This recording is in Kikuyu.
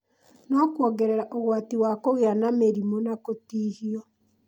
no kuongerere ũgwati wa kũgĩa na mĩrimũ na kũtihio.